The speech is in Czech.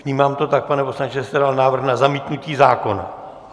Vnímám to tak, pane poslanče, že jste dal návrh na zamítnutí zákona?